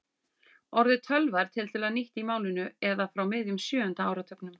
Orðið tölva er tiltölulega nýtt í málinu eða frá miðjum sjöunda áratugnum.